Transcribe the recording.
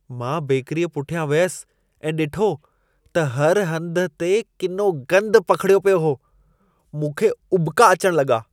मां बेकरीअ पुठियां वियसि ऐं ॾिठो त हर हंध ते किनो गंदु पखिड़ियो पियो हो। मूंखे उॿका अचण लॻा।